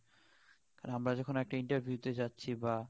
কারন আমরা যখন একটা Interview তে যাচ্ছি বা